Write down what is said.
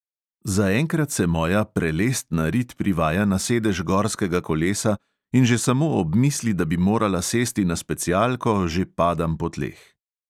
Zaenkrat se moja prelestna rit privaja na sedež gorskega kolesa in že samo ob misli, da bi morala sesti na specialko, že padam po tleh.